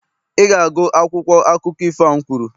Ị ga-agụ akwụkwọ akụkọ ifo a m kwuru!